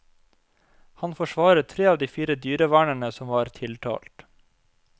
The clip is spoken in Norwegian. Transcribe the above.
Han forsvarer tre av de fire dyrevernerne som var tiltalt.